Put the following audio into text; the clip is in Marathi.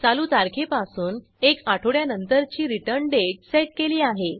चालू तारखेपासून एक आठवड्यानंतरची रिटर्न डेट सेट केली आहे